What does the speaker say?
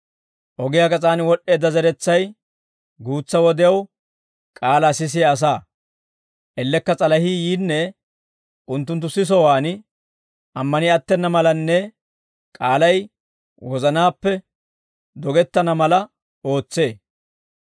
Ogiyaa gas'aan wod'd'eedda zeretsay, guutsa wodew k'aalaa sisiyaa asaa; ellekka s'alahii yiinne, unttunttu sisowaan ammani attena malanne k'aalay wozanaappe dogettana mala ootsee.